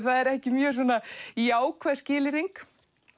er ekki mjög jákvæð skilyrðing